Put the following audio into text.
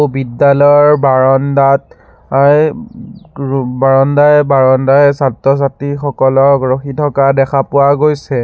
বিদ্যালয় বাৰণ্ডাত অ অই বাৰণ্ডাই বাৰণ্ডাই ছাত্ৰ ছাত্ৰীসকলক ৰখি থকা দেখা পোৱা গৈছে।